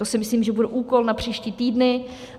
To si myslím, že bude úkol na příští týdny.